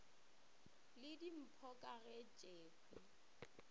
le dimpho ka ge tšekhwi